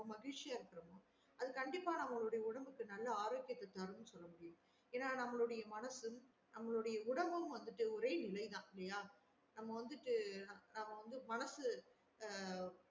மகிழ்ச்சியா இருக்குறோமோ அது கண்டிப்பா நம்மளோடைய உடம்புக்கு நல்ல ஆரோக்கியத்த தரும்ன்னு சொல்ல முடியும் ஏன்னா நம்மலோடிய மனசு நம்மளுடைய உடம்பும் வந்துட்டு ஒரே நிலைதா இல்லையா நம்ம வந்துட்டு நம்ம வந்து மனசு ஆஹ்